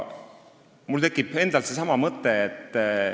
Mul tekib endal seesama mõte.